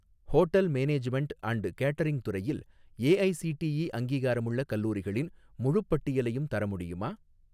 Hotel management and catering துறையில் AICTE அங்கீகாரமுள்ள கல்லூரிகளின் முழுப் பட்டியலையும் தர முடியுமா?